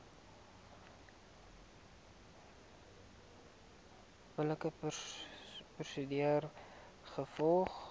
billike prosedure gevolg